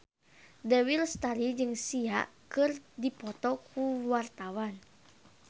Dewi Lestari jeung Sia keur dipoto ku wartawan